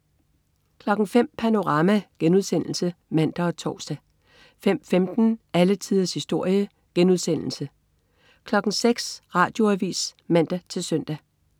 05.00 Panorama* (man og tors) 05.15 Alle tiders historie* 06.00 Radioavis (man-søn)